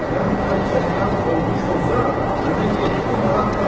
Sən hər kəsdən olmuş olsa, mənə yeddi manat tap.